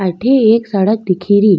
अठे एक सड़क दिखे री।